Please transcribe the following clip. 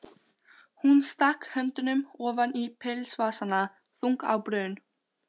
Hún stakk höndunum ofan í pilsvasana, þung á brún.